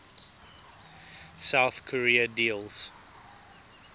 south korea deals